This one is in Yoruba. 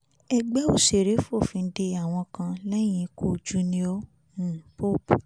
ẹgbẹ́ òṣèré fòfin de àwọn kan lẹ́yìn ikú junior um pope